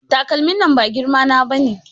Takalmin nan ba girma na bane